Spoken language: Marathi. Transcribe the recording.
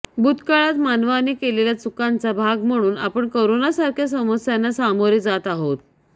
भूतकाळात मानवाने केलेल्या चुकांचा भाग म्हणून आपण करोनासारख्या समस्यांना सामोरे जात आहोत